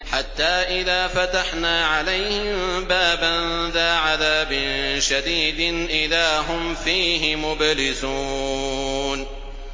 حَتَّىٰ إِذَا فَتَحْنَا عَلَيْهِم بَابًا ذَا عَذَابٍ شَدِيدٍ إِذَا هُمْ فِيهِ مُبْلِسُونَ